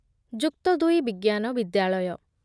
ଯୁକ୍ତଦୁଇ ବିଜ୍ଞାନ ବିଦ୍ୟାଳୟ